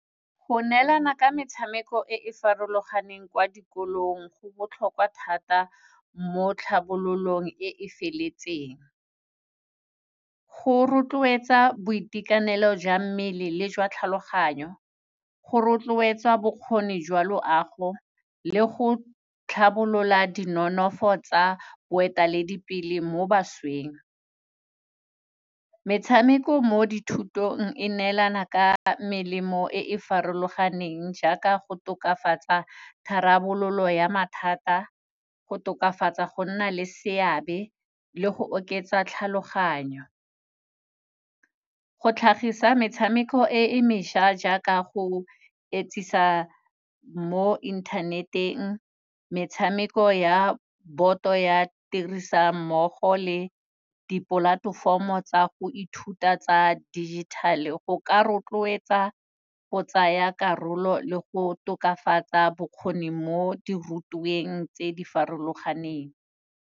Go neelana ka metshameko e e farologaneng kwa dikolong go botlhokwa thata mo tlhabololong e feletseng. Go rotloetsa boitekanelo jwa mmele le jwa tlhaloganyo, go rotloetsa bokgoni jwa loago le go tlhabolola di nonofo tsa boeteledipele mo bašweng. Metshameko mo dithutong e neelana ka melemo e e farologaneng jaaka go tokafatsa tharabololo ya mathata, go tokafatsa go nna le seabe le go oketsa tlhaloganyo. Go tlhagisa metshameko e e mešwa jaaka go etsisa mo internet-eng, metshameko ya boto ya tirisanommogo le di-platform-o tsa go ithuta tsa digital-e, go ka rotloetsa go tsaya karolo le go tokafatsa bokgoni mo di rutweng tse di farologaneng.